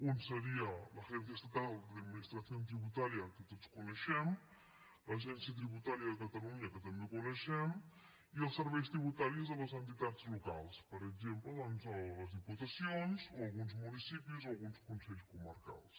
un seria la agencia estatal de administración tributaria que tots coneixem l’agència tributària de catalunya que també coneixem i els serveis tributaris de les entitats locals per exemple doncs les diputacions o alguns municipis o alguns consells comarcals